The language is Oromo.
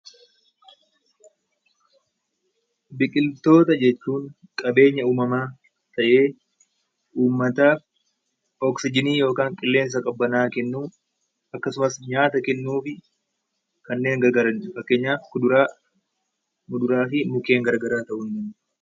Biqiltoota jechuun qabeenya uumamaa ta'ee uummataaf oksijiinii yookaan qilleensa qabbanaa'aa kennuuf akkasumas nyaata kennuu fi kanneen gargaaranidha. Fakkeenyaaf kuduraa, fuduraa fi mukkeen garaagaraadha.